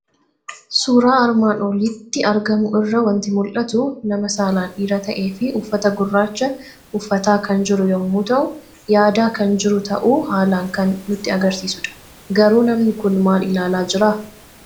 Suuraa armaan olitti argamu irraa waanti mul'atu; nama saalaan dhiira ta'efi uffata gurraacha uffataa kan jiru yommuu ta'u, yaada kan jiru ta'uu haalan kan nutti agarsiisudha. Garuu namni kun maal ilaalaa jiraa?